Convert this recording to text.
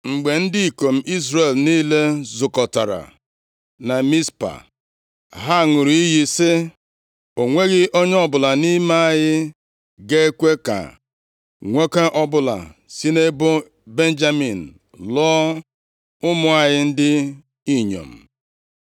Mgbe ndị ikom Izrel niile zukọtara na Mizpa, ha ṅụrụ iyi sị, “O nweghị onye ọbụla nʼime anyị ga-ekwe ka nwoke ọbụla si nʼebo Benjamin lụọ ụmụ anyị ndị inyom.”